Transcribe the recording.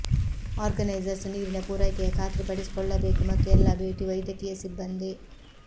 organisers ನೀರಿನ ಪೂರೈಕೆಯ ಖಾತ್ರಿಪಡಿಸಿಕೊಳ್ಳಬೇಕು ಮತ್ತು ಎಲ್ಲಾ ಭೇಟಿ ವೈದ್ಯಕೀಯ ಸಿಬ್ಬಂದಿ